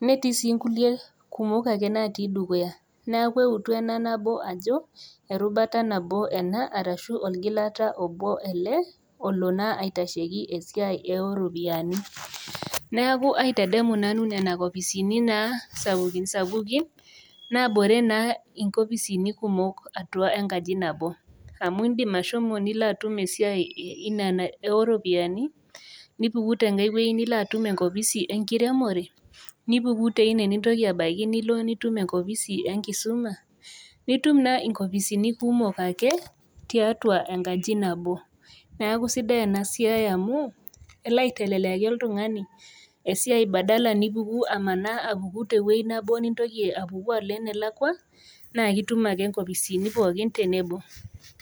netii sii inkulie kumok ake natii dukuya neaku eutu ena nabo ajo erubata nabo ena arashu orgilata obo ele olo naa aitasheki esiai eoropiani naaku aitedemu nanu nena kopisini naa sapukin sapukin nabore naa inkopisini kumok atua enkaji nabo amu indim ashomo nilo atum esiai inena eoropiani nipuku tenkae wueji nilo atum enkopisi enkiremore nipuku teine nintoki abaiki nilo nitum enkopisi enkisuma nitum naa inkopisini kumok ake tiatua enkaji nabo naku sidai ena siai amu elo aiteleliaki oltung'ani esiai badala` nipuku amanaa apuku tewoi nabo nintoki apuku alo enelakua naa kitum ake inkopisini pookin tebebo.